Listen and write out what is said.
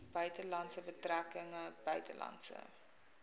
buitelandse betrekkinge buitelandse